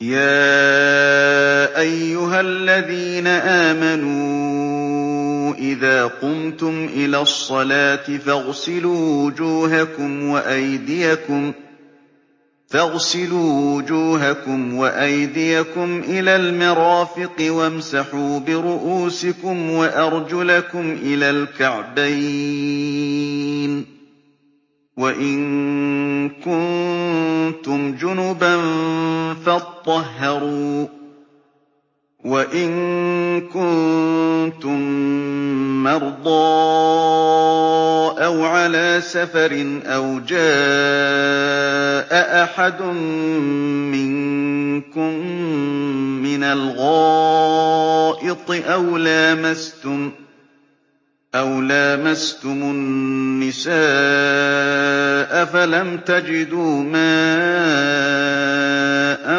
يَا أَيُّهَا الَّذِينَ آمَنُوا إِذَا قُمْتُمْ إِلَى الصَّلَاةِ فَاغْسِلُوا وُجُوهَكُمْ وَأَيْدِيَكُمْ إِلَى الْمَرَافِقِ وَامْسَحُوا بِرُءُوسِكُمْ وَأَرْجُلَكُمْ إِلَى الْكَعْبَيْنِ ۚ وَإِن كُنتُمْ جُنُبًا فَاطَّهَّرُوا ۚ وَإِن كُنتُم مَّرْضَىٰ أَوْ عَلَىٰ سَفَرٍ أَوْ جَاءَ أَحَدٌ مِّنكُم مِّنَ الْغَائِطِ أَوْ لَامَسْتُمُ النِّسَاءَ فَلَمْ تَجِدُوا مَاءً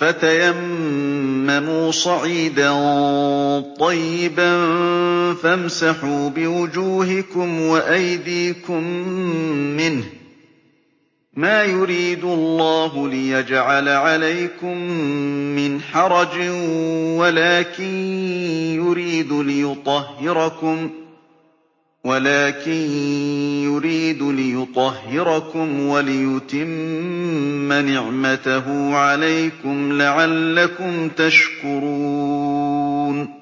فَتَيَمَّمُوا صَعِيدًا طَيِّبًا فَامْسَحُوا بِوُجُوهِكُمْ وَأَيْدِيكُم مِّنْهُ ۚ مَا يُرِيدُ اللَّهُ لِيَجْعَلَ عَلَيْكُم مِّنْ حَرَجٍ وَلَٰكِن يُرِيدُ لِيُطَهِّرَكُمْ وَلِيُتِمَّ نِعْمَتَهُ عَلَيْكُمْ لَعَلَّكُمْ تَشْكُرُونَ